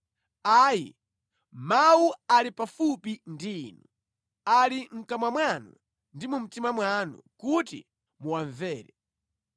Ayi, mawu ali pafupi ndi inu; ali mʼkamwa mwanu ndi mu mtima mwanu kuti muwamvere.